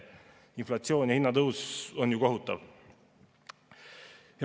Inflatsioon ja hinnatõus on ju kohutav.